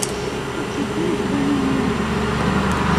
включи фильм зеленая миля